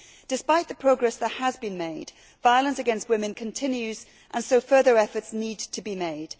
Despite the progress that has been made, violence against women continues and so further efforts need to be made.